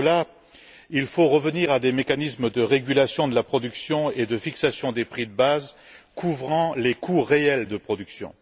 Pour cela, il faut revenir à des mécanismes de régulation de la production et de fixation des prix de base couvrant les coûts réels de production.